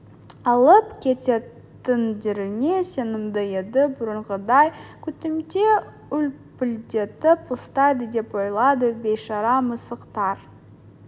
алып кететіндеріне сенімді еді бұрынғыдай күтімде үлпілдетіп ұстайды деп ойлады бейшара мысықтар